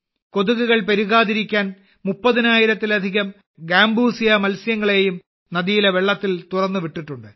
കൊതുകുകൾ പെരുകാതിരിക്കാൻ മുപ്പതിനായിരത്തിലധികം ഗാംബൂസിയ മത്സ്യങ്ങളെയും നദിയിലെ വെള്ളത്തിൽ തുറന്നുവിട്ടിട്ടുണ്ട്